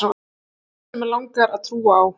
guð sem mig langar að trúa á.